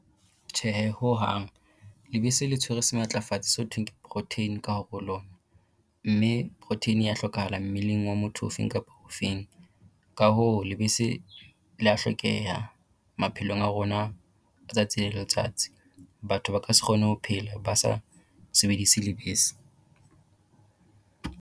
Tjhehe hohang, lebese le tshwere sematlafatsi se ho thweng ke protein ka hare ho lona. Mme protein ya hlokahala mmeleng wa motho ofeng kapa o feng. Ka hoo lebese lea hlokeha maphelong a rona letsatsi le letsatsi. Batho ba ka se kgone ho phela ba sa sebedise lebese.